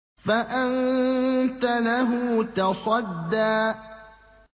فَأَنتَ لَهُ تَصَدَّىٰ